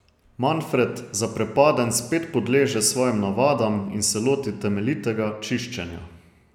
Manfred zaprepaden spet podleže svojim navadam in se loti temeljitega čiščenja.